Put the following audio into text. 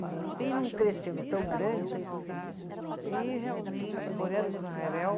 E vem num crescendo tão grande que realmente